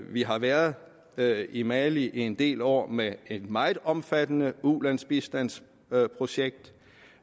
vi har været været i mali i en del år med et meget omfattende ulandsbistandsprojekt